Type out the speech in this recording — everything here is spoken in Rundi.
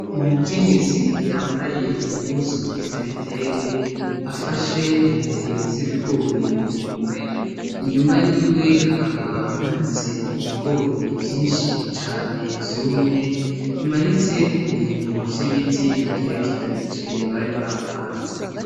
Umukenyezi yambaye impuzu z'ibitenge afashe intete z'ibigori mu minwe , inyuma yiwe hakaba hamanitse ibigori vyinshi cane vyumye , bimanitse ku bintu vy'ibiti bigerekeranije bari bapanze.